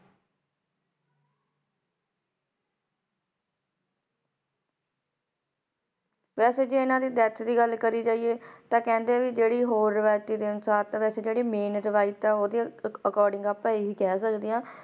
ਵੈਸੇ ਜੇ ਇਨ੍ਹਾਂ ਦੀ death ਦੇ ਬਾਰੇ ਗੱਲ ਕਰਿ ਜਾਇ- ਤੇ ਕਹਿੰਦੇ ਹੈ ਕ ਜੈਰੀ ਰਿਵਾਤੇ ਅਨੁਸਾਰ ਤੇ ਜੈਰੀ main ਰਿਵਾਯਤ ਹੈ ਉਸ ਦੇ according ਤੇ ਆਪ ਆਏ ਹੈ ਕਹਿ ਸਕਦੇ ਹੈ